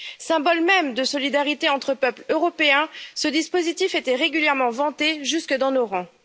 Symbole même de solidarité entre peuples européens, ce dispositif était régulièrement vanté jusque dans nos rangs.